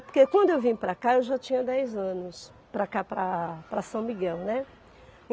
Porque quando eu vim para cá eu já tinha dez anos, para cá, para São Miguel, né?